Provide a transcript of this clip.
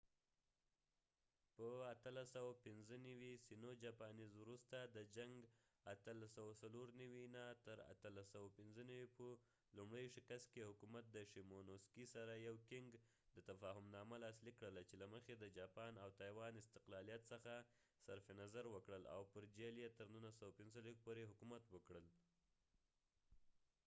په 1895 وروسته د sino-japanese جنګ 1895-1894 په لومړي شکست کې، د qing حکومت د شیمونوسکي سره یو تفاهمنامه لاسلیک کړله چې له مخې د جاپان او تایوان استقلالیت څخه صرف نظر وکړل او پر جهیل یې تر 1945 پورې حکومت وکړل